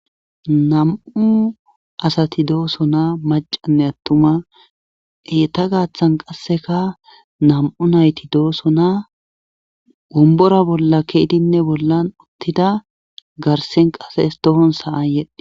Nam'u asati doosonaa macanne attuma eeta gaaththan qasseka nam'u nayti dooso naa wombora bolla keidinne bollan uttida garsen qase es tohon sa'ayedhdhe